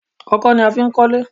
Ọkọ́ ni a fí ń kọlẹ̀